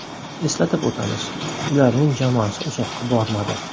Eslatib o‘tamiz, ularning jamoasi uzoqqa bormadi.